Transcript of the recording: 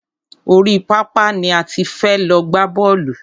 Orí pápá ni a ti fẹ́ lọ gbá bọ́ọ̀lù.